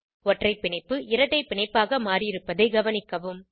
ஒற்றை பிணைப்பு இரட்டை பிணைப்பாக மாறியிருப்பதை கவனிக்கவும்